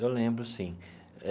Eu lembro, sim eh.